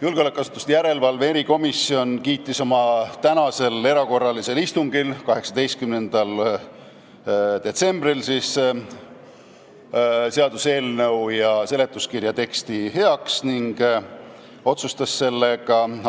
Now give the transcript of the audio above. Julgeolekuasutuste järelevalve erikomisjon kiitis oma tänasel erakorralisel istungil seaduseelnõu ja seletuskirja teksti heaks ning otsustas